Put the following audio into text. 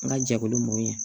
N ka jɛkulu mɔn